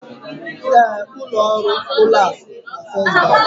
Ee, ụlọ ọrụ ụlọ akụ na First Bank